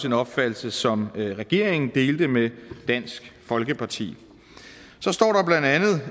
en opfattelse som regeringen delte med dansk folkeparti så står